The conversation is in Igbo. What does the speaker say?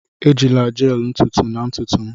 Ejila gel ntutu na ntutu m!